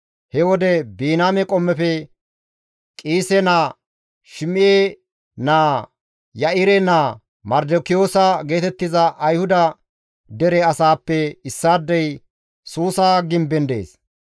He wode Biniyaame qommofe Qiise naa, Shim7e naa, Ya7ire naa Mardikiyoosa geetettiza Ayhuda dere asaappe issaadey Suusa gimben dees.